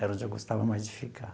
Era onde eu gostava mais de ficar.